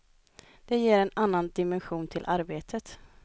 Det ger en annan dimension till arbetet.